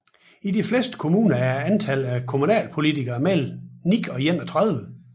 I de fleste kommuner er antallet af kommunalpolitikere mellem 9 og 31